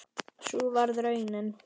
Sú varð raunin.